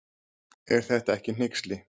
Er þetta ekki hneyksli.